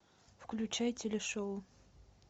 включай телешоу